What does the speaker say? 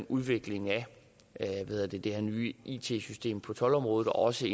udviklingen af det her nye it system på toldområdet og også